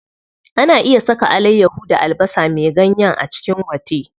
Ana iya saka alayyaho da albasa me ganyen a cikin gwate.